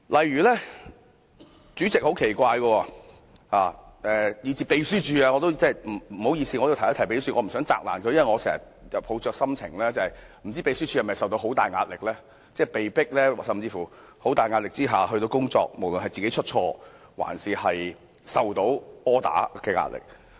對不起要提到秘書處，因我也不想責難秘書處，但我經常會想，秘書處是否承受了很大壓力，被迫在極大壓力下工作，無論是要避免出錯還是收到 order 的壓力。